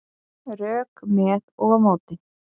Rök með og á móti